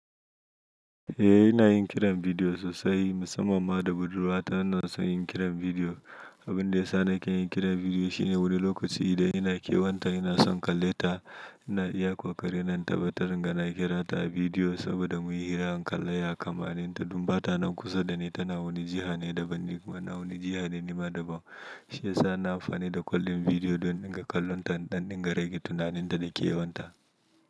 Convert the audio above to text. Eh ina yin kiran bidiyo sosai musamamma da budurwa ta ina son yin kiran bidiyo. Abun da ya sa nake yin kiran bidiyo shine wani lokaci idan ina kewan ta ina son kalle ta ina iya ƙoƙari na tabbatar ina kira ta a bidiyo saboda muyi hirar kalaya kammanin ta dun bata nan kusa dani tana wani jiha ne daban. Na wani jiha ne nima daban shiyasa na amfani da kallin bidiyo don in ga kalon ta don in rike tunanin ta da ke wanta.